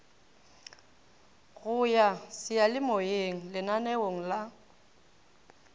go ya seyalemoyeng lananeong la